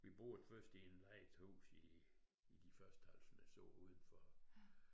Vi boede først i en lejet hus i i de første halv snes år udenfor